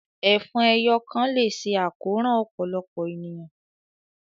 Ẹfọn ẹ́yọ kan le ṣe àkoran ọpọlọpọ éniyàn